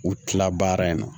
U tila baara in na